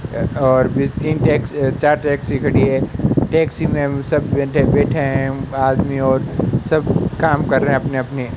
अह और ये तीन टैक्सी चार टैक्सी खड़ी है टैक्सी में सब लोग बैठे हैं उनका आदमी और सब काम कर रहे हैं अपने अपने --